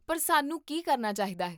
ਪਰ, ਸਾਨੂੰ ਕੀ ਕਰਨਾ ਚਾਹੀਦਾ ਹੈ?